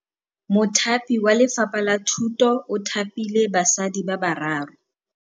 Mothapi wa Lefapha la Thutô o thapile basadi ba ba raro.